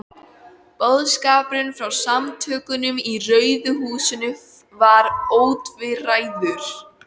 Boðskapurinn frá Samtökunum í Rauða húsinu var ótvíræður.